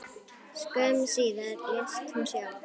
Skömmu síðar lést hún sjálf.